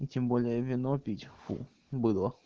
тем более вино пить фу быдло